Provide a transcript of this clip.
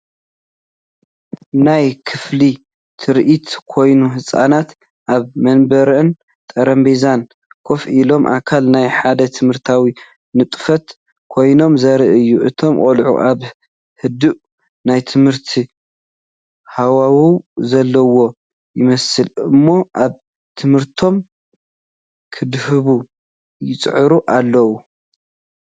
ናይ ክፍሊ ትርኢት ኮይኑ፡ ህጻናት ኣብ መንበርን ጠረጴዛን ኮፍ ኢሎም፡ ኣካል ናይ ሓደ ትምህርታዊ ንጥፈት ኮይኖም ዘርኢ እዩ። እቶም ቆልዑ ኣብ ህዱእ ናይ ትምህርቲ ሃዋህው ዘለዉ ይመስሉ እሞ ኣብ ትምህርቶም ከድህቡ ይጽዕሩ ኣለዉ።